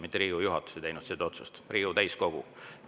Mitte Riigikogu juhatus ei teinud seda otsust, vaid Riigikogu täiskogu.